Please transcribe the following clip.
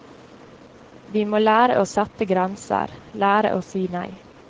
Vi må lære å sette grenser, lære å si nei.